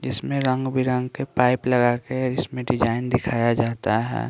जिसमें रंग बिरंग के पाइप लगा के इसमें डिजाइन दिखाया जाता है।